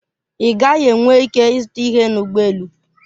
Ị gaghị enwe ike ịzụta ihe na ụgbọ elu.